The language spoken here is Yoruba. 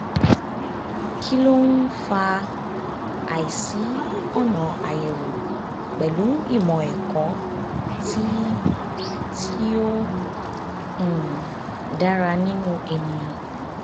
kí ló ń fa àìsí ọ̀nà àyèwò pẹ̀lú ìmọ̀ ẹ̀kọ́ tí tí ó um dára nínú ènìyàn?